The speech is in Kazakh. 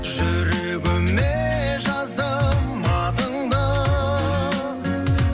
жүрегіме жаздым атыңды